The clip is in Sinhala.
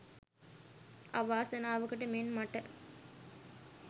අවාසනාවකට මෙන් මට